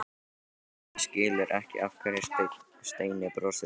Bjössi skilur ekki af hverju Steini brosir svona.